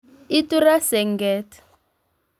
Itu ra senget